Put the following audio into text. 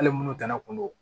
Hali minnu kana kun don